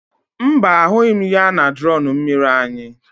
Mba, ahụghị m ya na drọn mmiri anyị.